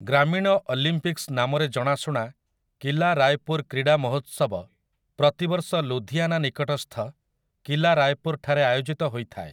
ଗ୍ରାମୀଣ Olympics ନାମରେ ଜଣାଶୁଣା 'କିଲା ରାୟପୁର୍‌ କ୍ରୀଡ଼ା ମହୋତ୍ସବ' ପ୍ରତିବର୍ଷ ଲୁଧିଆନା ନିକଟସ୍ଥ କିଲା ରାୟପୁର୍‌ଠାରେ ଆୟୋଜିତ ହୋଇଥାଏ ।